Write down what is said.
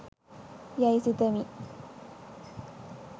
යැයි සිතමි